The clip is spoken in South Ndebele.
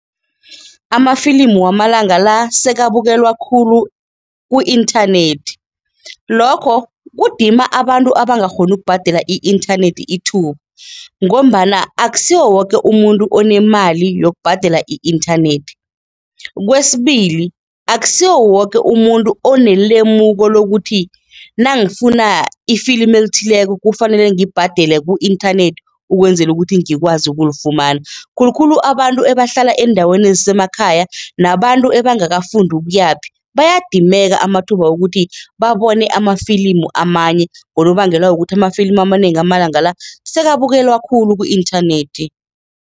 Amafilimu wamalanga la sekabukelwa khulu ku-inthanethi. Lokho kudima abantu abangakghoni ukubhadela i-inthanethi ithuba ngombana akusiwo woke umuntu onemali yokubhadela i-inthanethi. Kwesibili, akusiwo woke umuntu onelemuko lokuthi nangifuna ifilimi elithileko kufanele ngibhadele ku-inthanethi ukwenzela ukuthi ngikwazi ukulifumana, khulukhulu abantu ebahlala eendaweni ezisemakhaya nabantu ebangakafundi ukuyaphi bayadimeka amathuba wokuthi babone amafilimu amanye ngonobangela wokuthi amafilimu amanengi amalanga la, sekabukelwa khulu ku-inthanethi.